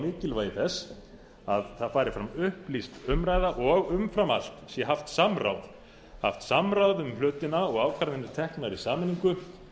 verið hamrað á mikilvægi þess að það fari fram upplýst umræða og umfram allt sé haft samráð um hlutina og ákvarðanir teknar í sameiningu